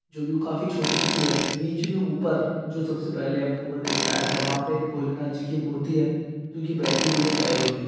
जो काफी छोटी- छोटी है बीचमे ऊपर जो सब से पहले हम को बताया था एक भोलेनाथजी की मूर्ति है जो की बैठी हुई हेटाइलों में ।]